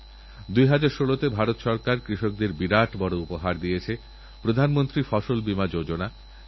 এই সব কথা মনে রেখে ভারত সরকার গত কিছু মাসথেকে এক নতুন অভিযান শুরু করেছে প্রধানমন্ত্রী সুরক্ষিত মাতৃত্ব অভিযান